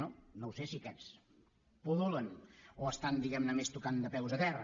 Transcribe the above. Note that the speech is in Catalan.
no ho sé si aquests pul·lulen o estan diguem ne més tocant de peus a terra